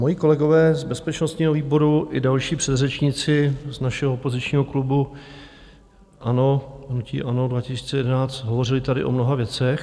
Moji kolegové z bezpečnostního výboru i další předřečníci z našeho opozičního klubu ANO, hnutí ANO 2011, hovořili tady o mnoha věcech.